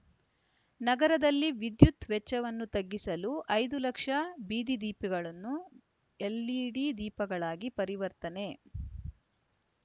ನಗರದಲ್ಲಿ ವಿದ್ಯುತ್ ವೆಚ್ಚವನ್ನು ತಗ್ಗಿಸಲು ಐದು ಲಕ್ಷ ಬೀದಿ ದೀಪಗಳನ್ನು ಎಲ್‌ಇಡಿ ದೀಪಗಳಾಗಿ ಪರಿವರ್ತನೆ